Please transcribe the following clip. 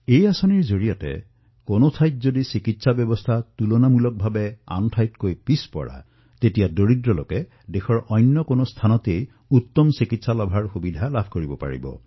এই যোজনাৰ সৈতে যিকোনো স্থানত যত স্বাস্থ্যৰ ব্যৱস্থা দুৰ্বল তাৰে দুখীয়াই দেশৰ যিকোনো স্থানত উত্তম চিকিৎসা লাভ কৰিব পাৰে